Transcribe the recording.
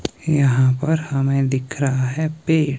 यहां पर हमें दिख रहा है पेड़।